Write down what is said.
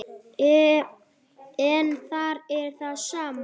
En þar er það sama.